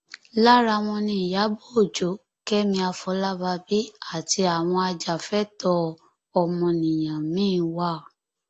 lára wọn ni ìyàbọ ọjọ kẹmi àfọlábàbí àti àwọn ajàfẹtọọ ọmọnìyàn miín wà